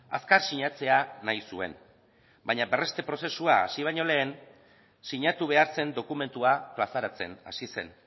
azkar sinatzea nahi zuen baina berreste prozesua hasi baino lehen sinatu behar zen dokumentua plazaratzen hasi zen